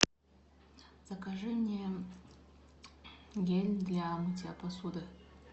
закажи мне гель для мытья посуды